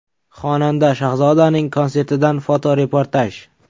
Xonanda Shahzodaning konsertidan fotoreportaj.